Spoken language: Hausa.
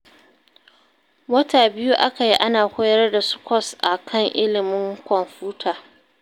Wata biyu aka yi ana koyar da su kwas a kan ilimin kwamfuta